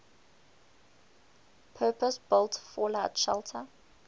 purpose built fallout shelter